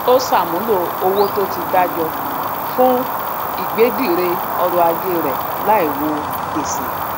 ó ṣàmúlò owó tó ti dá jọ fún ìgbédìre ọrọ ajé rẹ láì wo gbèsè